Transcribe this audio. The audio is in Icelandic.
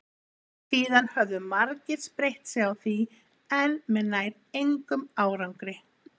Síðan höfðu margir spreytt sig á því en með nær engum árangri.